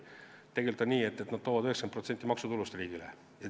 Tegelikult on nii, et nad annavad 90% riigi maksutulust.